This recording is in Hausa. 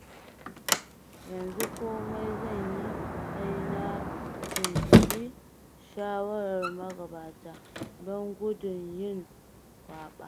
Yanzu komai zan yi sai na tuntuɓi shawarar magabata, don gudun yin kwaɓa.